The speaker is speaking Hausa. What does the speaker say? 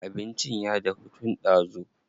Abincin ya dahu tun ɗazu.